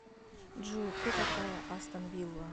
джой кто такая астон вилла